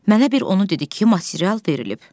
Mənə bir onu dedi ki, material verilib.